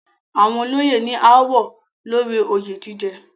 Àwọn olóyè ní ááwọ̀ lórí oyè jíjẹ.